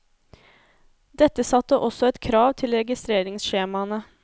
Dette satte også et krav til registreringsskjemaene.